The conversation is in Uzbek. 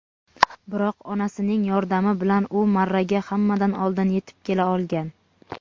Biroq onasining yordami bilan u marraga hammadan oldin yetib kela olgan.